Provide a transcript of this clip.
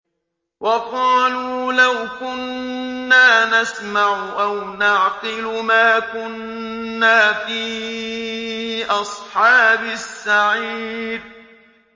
وَقَالُوا لَوْ كُنَّا نَسْمَعُ أَوْ نَعْقِلُ مَا كُنَّا فِي أَصْحَابِ السَّعِيرِ